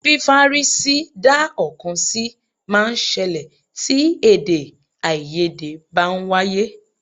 Fífárí sí dá ọ̀kan sí máa ń ṣẹlẹ̀ tí èdè-áiyedé bá ń wáyé.